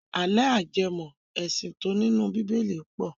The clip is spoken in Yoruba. Àlọ́ ajẹmọ́-ẹ̀sìn tí ó nínú bíbélì pọ̀.